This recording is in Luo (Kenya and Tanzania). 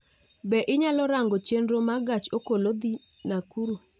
Bende inyalo rango chenro ma gach okolo dhi Nakuru